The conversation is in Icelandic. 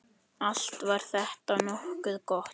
Allt var þetta nokkuð gott.